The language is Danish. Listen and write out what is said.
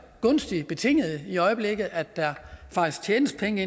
gunstigt stillet i øjeblikket at der faktisk tjenes penge